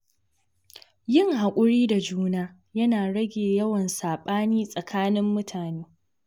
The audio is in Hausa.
Yin hakuri da juna yana rage yawan sabani tsakanin mutane.